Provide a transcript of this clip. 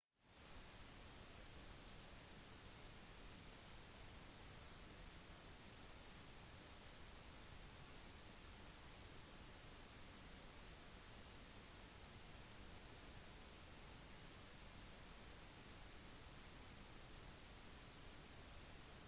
etter de innledende militære tilbakeslagene klarte ethelred å bli enige om vilkårene med olaf som vendte tilbake til norge for å forsøke å vinne kongeriket sitt med blandet suksess